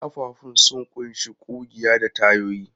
Ƙafafun sun ƙunshi ƙugiya da tayoyi.